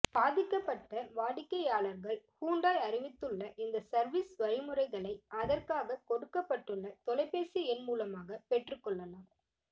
பாதிக்கப்பட்ட வாடிக்கையாளர்கள் ஹூண்டாய் அறிவித்துள்ள இந்த சர்வீஸ் வழிமுறைகளை அதற்காக கொடுக்கப்பட்டுள்ள தொலைப்பேசி எண் மூலமாக பெற்றுக்கொள்ளலாம்